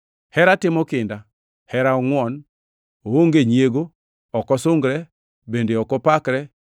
Hera timo kinda, kendo ongʼwon, oonge nyiego, ok osungre, bende ok opakre.